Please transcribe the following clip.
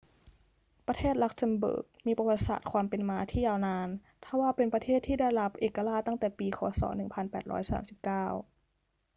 ประเทศลักเซมเบิร์กมีประวัติศาสตร์ความเป็นมาที่ยาวนาน ทว่าเป็นประเทศที่ได้รับเอกราชตั้งแต่ปี ค. ศ. 1839